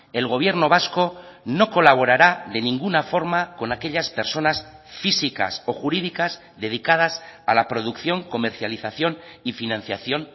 el gobierno vasco no colaborará de ninguna forma con aquellas personas físicas o jurídicas dedicadas a la producción comercialización y financiación